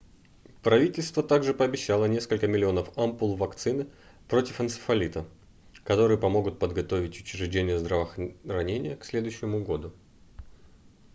правительство также пообещало несколько миллионов ампул вакцины против энцефалита которые помогут подготовить учреждения здравоохранения к следующему году